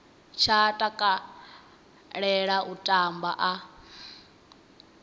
tsha takalela u tamba a